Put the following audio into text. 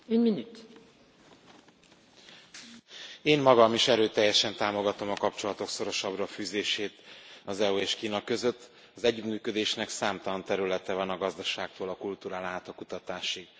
Elnök Asszony, én magam is erőteljesen támogatom a kapcsolatok szorosabbra fűzését az EU és Kína között, az együttműködésnek számtalan területe van a gazdaságtól a kultúrán át a kutatásig.